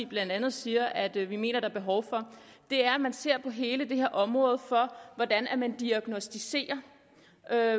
blandt andet siger at vi mener der er behov for er at man ser på hele det her område for diagnosticering af